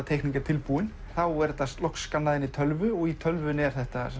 teikning er tilbúin er þetta skannað inn í tölvu og í tölvunni er þetta